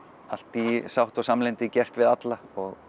allt í sátt og samlyndi við alla